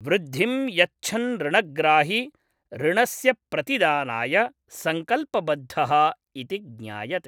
वृद्धिं यच्छन् ऋणग्राही ऋणस्य प्रतिदानाय सङ्कल्पबद्धः इति ज्ञायते।